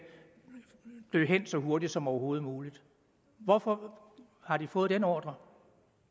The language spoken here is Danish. dø hen så hurtigt som overhovedet muligt hvorfor har de fået den ordre